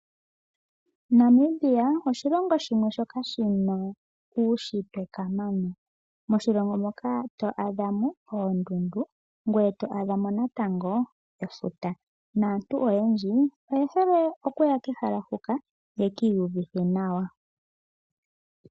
Namibia oshilongo shimwe shoka shina uushitwe kamana ,oto adha mo oondundu ngoye to adha mo natango efuta naantu oyendji oye hole okuya kehala huka ye ki iyuvithe nawa.